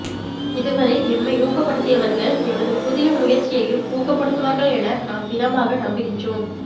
இதுவரை எம்மை ஊக்கப்படுத்தியவர்கள் எமது புதிய முயற்சியையும் ஊக்கப்படுத்துவார்கள் என நாம் திடமாக நம்புகின்றோம்